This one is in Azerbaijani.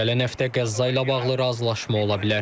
Gələn həftə Qəzza ilə bağlı razılaşma ola bilər.